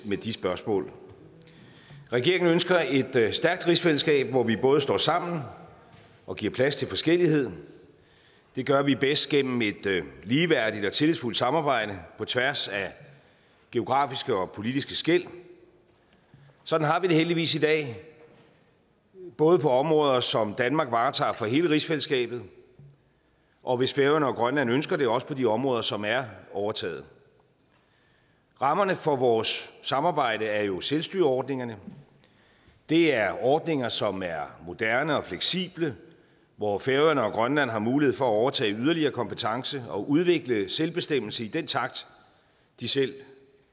med de spørgsmål regeringen ønsker et stærkt rigsfællesskab hvor vi både står sammen og giver plads til forskellighed det gør vi bedst gennem et ligeværdigt og tillidsfuldt samarbejde på tværs af geografiske og politiske skel sådan har vi det heldigvis i dag både på områder som danmark varetager for hele rigsfællesskabet og hvis færøerne og grønland ønsker det også på de områder som er overtaget rammerne for vores samarbejde er jo selvstyreordningerne det er ordninger som er moderne og fleksible hvor færøerne og grønland har mulighed for at overtage yderligere kompetence og udvikle selvbestemmelse i den takt de selv